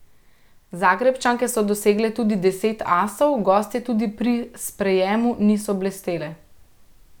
Zagrebčanke so dosegle tudi deset asov, gostje tudi pri sprejemu niso blestele.